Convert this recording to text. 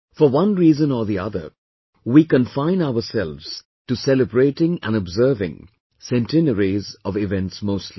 For one reason or the other, we confine ourselves to celebrating and observing centenaries of events mostly